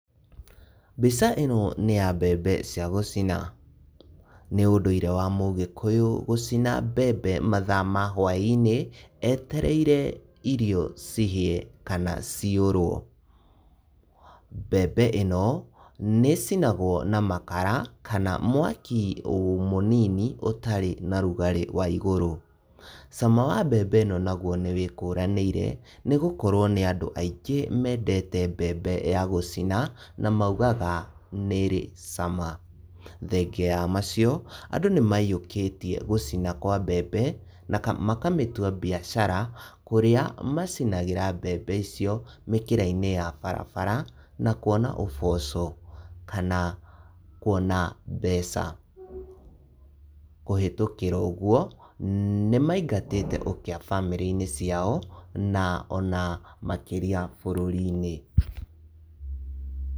Mbica ino ni ya mbembe cia gũcina. Nĩ ũndũire wa Mũgĩkũyũ gũcina mbembe mathaa ma hũainĩ etereire irio cihie kana ciũrũo. Mbembe ĩno nĩ ĩcinagũo na makara kana mwaki mũnini ũtarĩ na ũrugarĩ wa igũrũ. Cama wa mbembe ĩno naguo nĩ wĩkũranĩire nĩ gũkorũo nĩ andũ aingĩ mendete mbembe ya gũcina na maumaga nĩ ĩri cama. Thengia ya macio, andu nĩ maiyokĩtie gũcina kwa mbembe na makamĩtua biacara kũrĩa macinagĩra mbembe icio mĩkĩraina ya barabara na kuona uboco kana kuona mbeca. Kũhĩtũkĩra ũguo nĩmaingatĩte ũkĩa bamĩrĩ-inĩ ciao na ona makĩria bũrũri.